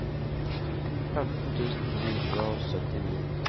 femten tusen ni hundre og syttini